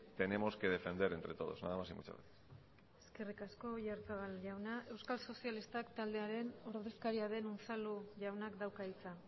tenemos que defender entre todos nada más y muchas gracias eskerrik asko oyarzabal jaunak euskal sozialista taldearen ordezkariaren unzalu jaunak dauka hitza